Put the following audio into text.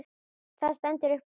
Það stendur upp úr.